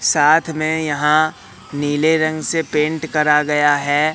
साथ में यहां नीले रंग से पेंट करा गया है।